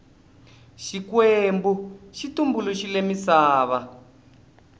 xikwembu xi tumbuluxile misava